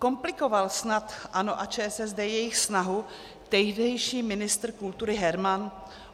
Komplikoval snad ANO a ČSSD jejich snahu tehdejší ministr kultury Herman?